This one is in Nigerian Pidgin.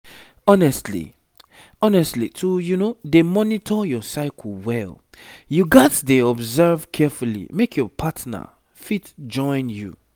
honestly honestly to dey monitor your cycle well you gats dey observe carefully make your partner fit join you